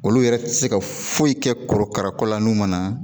Olu yɛrɛ tɛ se ka foyi kɛ korokara kɔlan n'u man na